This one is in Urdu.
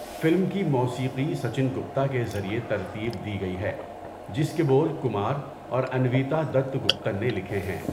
فلم کی موسیقی سچن گپتا کے ذریعے ترتیب دی گئی ہے جس کے بول کمار اور انویتا دت گپتن نے لکھے ہیں۔